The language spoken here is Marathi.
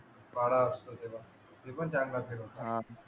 वारा असतो तेव्हा ते पण चांगला खेळ होता